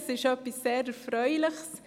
Das ist sehr erfreulich.